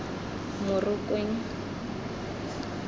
morokweng